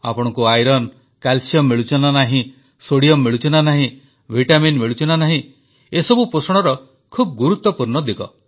ଆପଣଙ୍କୁ iron calcium ମିଳୁଛି ନା ନାହିଁ ସୋଡିଅମ୍ ମିଳୁଛି ନା ନାହିଁ ଭିଟାମିନ୍ ମିଳୁଛି ନା ନାହିଁ ଏସବୁ ପୋଷଣର ଖୁବ୍ ଗୁରୁତ୍ୱପୂର୍ଣ୍ଣ ଦିଗ